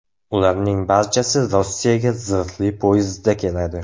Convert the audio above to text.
Ularning barchasi Rossiyaga zirhli poyezdda keladi.